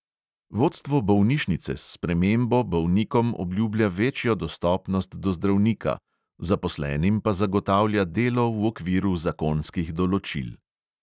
Vodstvo bolnišnice s spremembo bolnikom obljublja večjo dostopnost do zdravnika, zaposlenim pa zagotavlja delo v okviru zakonskih določil.